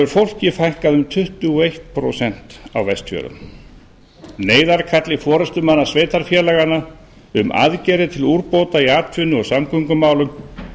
fólki fækkað um tuttugu og eitt prósent á vestfjörðum neyðarkalli forustumanna sveitarfélaganna um aðgerðir til úrbóta í atvinnu og samgöngumálum